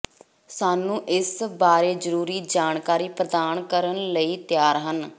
ਸਾਨੂੰ ਇਸ ਬਾਰੇ ਜ਼ਰੂਰੀ ਜਾਣਕਾਰੀ ਪ੍ਰਦਾਨ ਕਰਨ ਲਈ ਤਿਆਰ ਹਨ